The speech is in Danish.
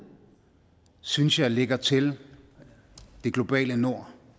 synes jeg ligger til det globale nord